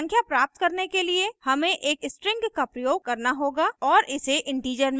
संख्या प्राप्त करने के लिए हमें एक string का प्रयोग करना होगा और इसे integer में convert करना होगा